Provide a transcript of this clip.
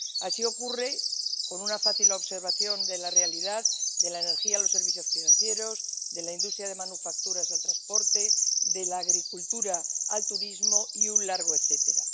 Así ocurre —basta una fácil observación de la realidad— de la energía a los servicios financieros, de la industria de manufacturas al transporte, de la agricultura al turismo, y un largo etcétera.